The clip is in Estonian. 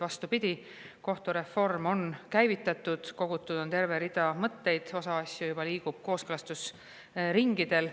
Vastupidi, kohtureform on käivitatud, kogutud on terve rida mõtteid, osa asju juba liigub kooskõlastusringidel.